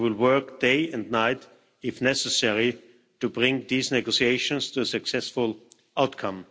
We will work day and night if necessary to bring these negotiations to a successful outcome.